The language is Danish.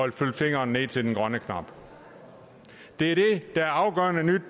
at flytte fingeren ned til den grønne knap det er det er afgørende nyt